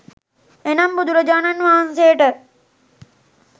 එනම් බුදුරජාණන් වහන්සේට